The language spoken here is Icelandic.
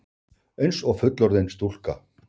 Einsog fullorðin stúlka.